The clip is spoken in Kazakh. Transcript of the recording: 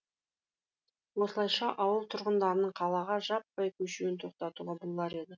осылайша ауыл тұрғындарының қалаға жаппай көшуін тоқтатуға болар еді